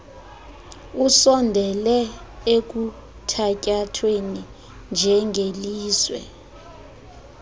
usondele ekuthatyathweni njengelizwe